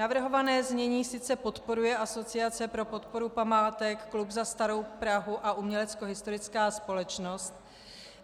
Navrhované znění sice podporuje Asociace pro podporu památek, Klub za starou Prahu a Uměleckohistorická společnost,